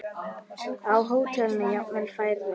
Á hótelum jafnvel færri.